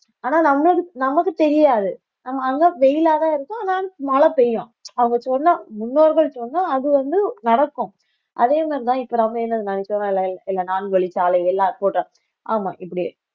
ஆனா நமக்குத் நமக்குத் தெரியாது நம்ம அங்க வெயிலாதான் இருக்கும் ஆனா மழை பெய்யும் அவங்க சொன்னா முன்னோர்கள் சொன்னா அது வந்து நடக்கும் அதே மாதிரிதான் இப்ப நம்ப என்ன நான்கு வழிச்சாலை எல்லா